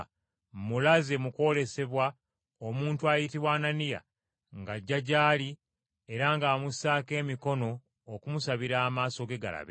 mmulaze mu kwolesebwa omuntu ayitibwa Ananiya ng’ajja gy’ali era ng’amussaako emikono okumusabira amaaso ge galabe.”